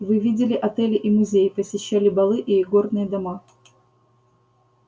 вы видели отели и музеи посещали балы и игорные дома